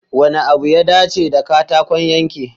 Wanne abu ya dace da katakon yanke?